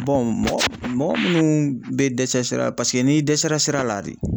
mɔgɔ mɔgɔ munnuu be dɛsɛ sira la paseke n'i dɛsɛra sira la de